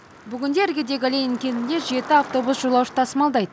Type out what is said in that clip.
бүгінде іргедегі ленин кентіне жеті автобус жолаушы тасымалдайды